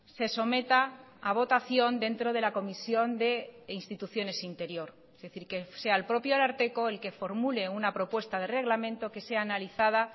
se someta a votación dentro de la comisión de instituciones interior es decir que sea el propio ararteko el que formule una propuesta de reglamento que sea analizada